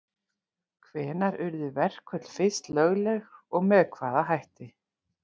Hvenær urðu verkföll fyrst lögleg og með hvaða hætti?